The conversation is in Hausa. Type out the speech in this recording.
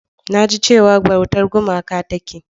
Na ji cewa bautar gumaka take.